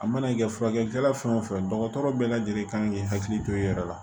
A mana kɛ furakɛlikɛla fɛn o fɛn dɔgɔtɔrɔ bɛɛ lajɛlen kan k'i hakili to i yɛrɛ la